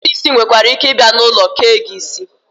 Ndị na-eke isi nwereike ịbịa n'ulo kee gị isi